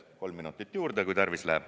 Palun kolm minutit juurde, äkki läheb tarvis.